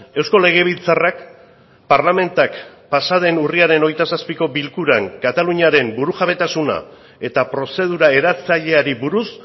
eusko legebiltzarrak parlamentak pasa den urriaren hogeita zazpiko bilkuran kataluniaren burujabetasuna eta prozedura eratzaileari buruz